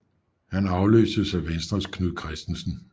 Han afløstes af Venstres Knud Kristensen